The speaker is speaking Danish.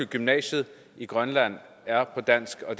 gymnasiet i grønland er på dansk og